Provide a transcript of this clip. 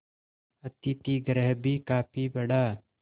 अतिथिगृह भी काफी बड़ा